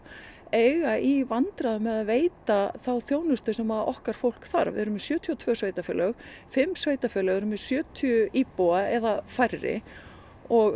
eiga í vandræðum með að veita þá þjónustu sem okkar fólk þarf við erum með sjötíu og tvö sveitarfélög fimm sveitarfélög eru með sjötíu íbúa eða færri og